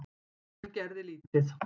En gerði lítið.